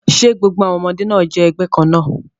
Ṣe gbogbo àwọn ọmọdé náà jẹ́ ẹgbẹ́ kan náà?